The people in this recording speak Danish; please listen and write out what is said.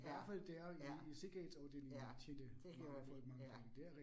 Ja, ja. Ja, det gjorde de. Ja